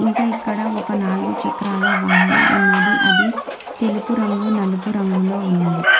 ఇంకా ఇక్కడ ఒక నాలుగు చక్రాల వాహనం ఉన్నది అది తెలుపు రంగు నలుపు రంగులో ఉన్నది.